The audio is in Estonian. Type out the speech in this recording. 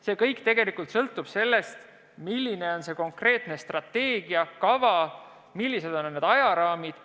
See kõik sõltub sellest, milline on konkreetne strateegia, kava, millised on ajaraamid.